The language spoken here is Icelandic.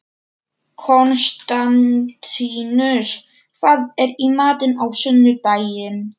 Konstantínus, hvað er í matinn á sunnudaginn?